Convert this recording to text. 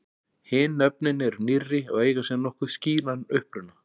Hin nöfnin eru nýrri og eiga sér nokkuð skýran uppruna.